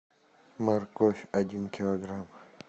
морковь один килограмм